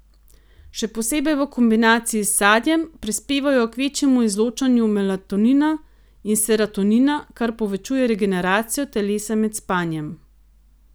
Še posebej v kombinaciji s sadjem, prispevajo k večjemu izločanju melatonina in serotonina, kar povečuje regeneracijo telesa med spanjem.